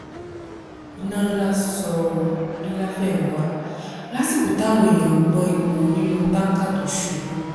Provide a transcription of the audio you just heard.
iná ńlá sọ ni láfẹnwà lásìkò táwọn èèyàn ń gbọ́n epo nínú táǹkà tó ṣubú